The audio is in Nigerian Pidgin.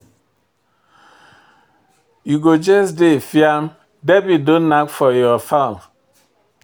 You go just dey fiam, debit don nack for your fon.